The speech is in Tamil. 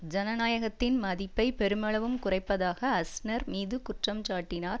ஜனநாயகத்தின் மதிப்பை பெருமளவும் குறைப்பதாக அஸ்நர் மீது குற்றஞ்சாட்டினார்